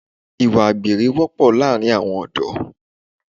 Ìwà àgbèrè wọ́pọ̀ láàrin àwọn ọ̀dọ́